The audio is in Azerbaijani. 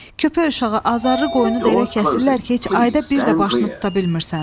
Köpək uşağı azarrı qoyunu da elə kəsirlər ki, heç ayda bir də başını tuta bilmirsən.